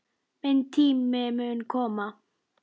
Minn tími mun koma.